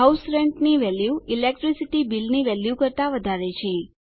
house rent ની value electricity bill ની value કરતા વધારે છે